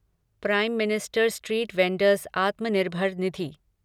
prime minister street vendors Atmanirbhar Nidhi